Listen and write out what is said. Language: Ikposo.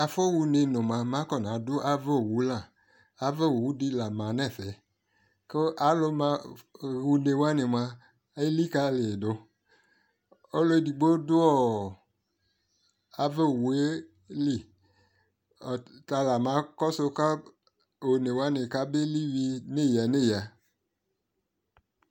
Afɔɣa une nʋ moa, mɛ akɔna du ava owu la Ava owu di la ma nʋ ɛfɛ kʋ alʋ maɣa une wani moa elikali yi dʋ Ɔlʋ edigbo dʋ owu yɛ li Ɔtala makɔsʋ kɔ one wani kabeli wi neyaneya